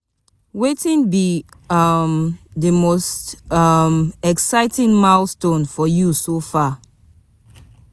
Wetin be um di most um exciting milestone for you so far?